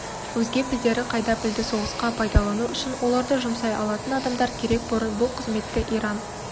өзге пілдері қайда пілді соғысқа пайдалану үшін оларды жұмсай алатын адамдар керек бұрын бұл қызметті иран